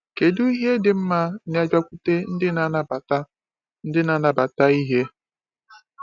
Kedu ihe dị mma na-abịakwute ndị na-anabata ndị na-anabata ìhè?